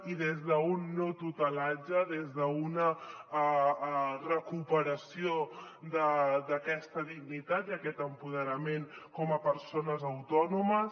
i des d’un no tutelatge des d’una recuperació d’aquesta dignitat i aquest empoderament com a persones autònomes